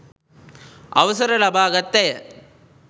අවසර ලබාගත් ඇය